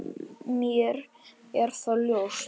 Mér er það ljóst.